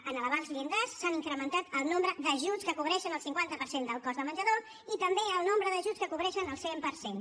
en canviar els llindars s’han incrementat el nombre d’ajuts que cobreixen el cinquanta per cent del cost del menjador i també el nombre d’ajuts que cobreixen el cent per cent